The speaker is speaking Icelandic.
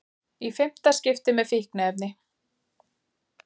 Í fimmta skipti með fíkniefni